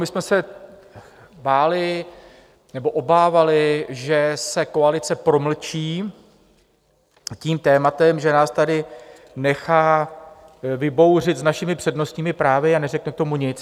My jsme se báli, nebo obávali, že se koalice promlčí tím tématem, že nás tady nechá vybouřit s našimi přednostními právy a neřekne k tomu nic.